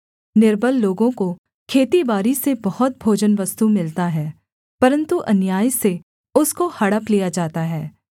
निर्बल लोगों को खेतीबारी से बहुत भोजनवस्तु मिलता है परन्तु अन्याय से उसको हड़प लिया जाता है